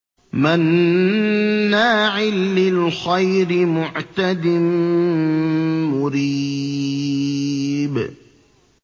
مَّنَّاعٍ لِّلْخَيْرِ مُعْتَدٍ مُّرِيبٍ